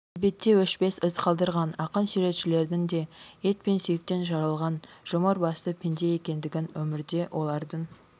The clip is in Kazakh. әдебиетте өшпес із қалдырған ақын-суретшілердің де ет пен сүйектен жаралған жұмыр басты пенде екендігін өмірде олардың